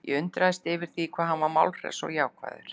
Ég var undrandi yfir því hvað hann var málhress og jákvæður.